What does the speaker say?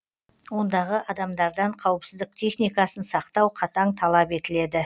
ондағы адамдардан қауіпсіздік техникасын сақтау қатаң талап етіледі